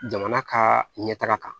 Jamana ka ɲɛ taga kan